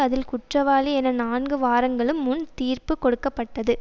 அதில் குற்றவாளி என நான்கு வாரங்களுக்கு முன் தீர்ப்பு கொடுக்க பட்டது